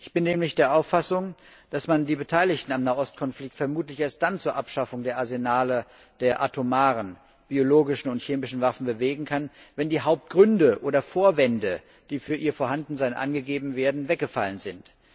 Ich bin nämlich der Auffassung, dass man die am Nahost Konflikt Beteiligten vermutlich erst dann zur Abschaffung der Arsenale der atomaren, biologischen und chemischen Waffen bewegen kann, wenn die Hauptgründe oder Vorwände, die für ihr Vorhandensein angegeben werden, weggefallen sind.